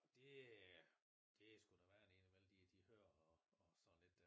Og det øh sgu noget være ind og imellem de hører og sådan lidt